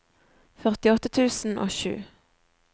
førtiåtte tusen og sju